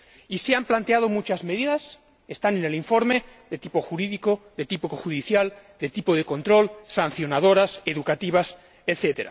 Y se han planteado muchas medidas están en el informe de tipo jurídico, de tipo judicial, de control, sancionadoras, educativas, etc.